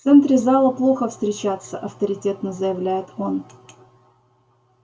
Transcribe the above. в центре зала плохо встречаться авторитетно заявляет он